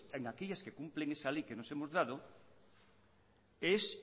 en aquellas que cumplen esa ley que nos hemos dado es